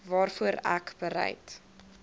waarvoor ek bereid